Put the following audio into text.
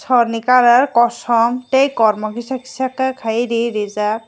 sor ni colour kosom tei kormo kisa kisa kei ri rijak.